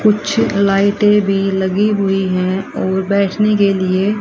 कुछ लाइटे भी लगी हुई हैं और बैठने लिए--